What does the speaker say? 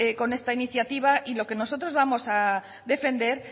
con esta iniciativa y lo que nosotros vamos a defender